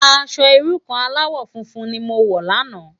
Aṣò irú kàn álàwò fúnfún ni mó wò làná